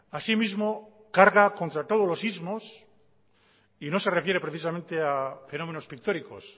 asimismo carga contra todos los ismos y no se refiere precisamente a fenómenos pictóricos